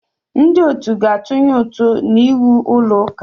Ndị otu ga-atụnye ụtụ n'iwu ụlọ ụka.